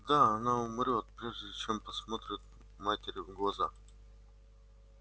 да она умрёт прежде чем посмотрит матери в глаза